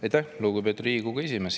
Aitäh, lugupeetud Riigikogu esimees!